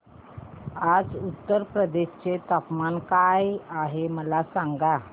आज उत्तर प्रदेश चे तापमान काय आहे मला सांगा